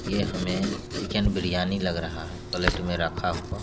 ये हमें चिकन बिरयानी लग रहा प्लेट में रखे हुआ ।